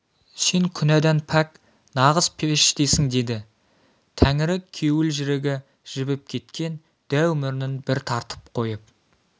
сен күнәдан пәк нағыз періштесің деді тәңірі кеуілжірігі жібіп кеткен дәу мұрнын бір тартып қойып